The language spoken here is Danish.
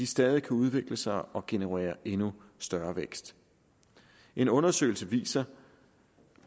stadig kan udvikle sig og generere endnu større vækst en undersøgelse viser